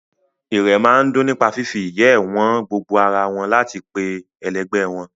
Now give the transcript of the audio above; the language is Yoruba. Irẹ̀ máa ń dùn nípa fífi ìyẹ́ ẹ wọn gbo ara wọn láti pe ẹlẹgbẹ́ wọn